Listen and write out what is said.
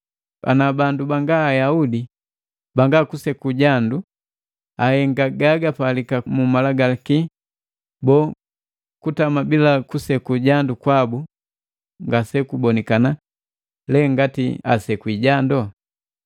Ana bandu banga Ayaudi banga kuseku jandu ahenga gagapalika mu Malagalaki, boo, kutama bila kuseku jandu kwabu ngase kubonikana le ngati asekwi jando?